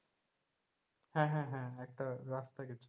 হ্যাঁ হ্যাঁ হ্যাঁ একটা রাস্তা গেছে,